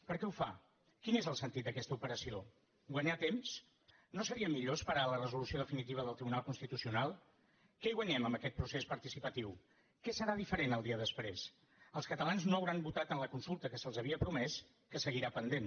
per què ho fa quin és el sentit d’aquesta operació guanyar temps no seria millor esperar a la resolució definitiva del tribunal constitucional què hi guanyem amb aquest procés participatiu què serà diferent el dia després els catalans no hauran votat en la consulta que se’ls havia promès que seguirà pendent